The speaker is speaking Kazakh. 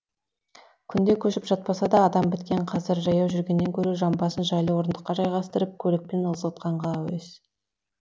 күнде көшіп жатпаса да адам біткен қазір жаяу жүргеннен гөрі жамбасын жайлы орындыққа жайғастырып көлікпен ызғытқанға әуес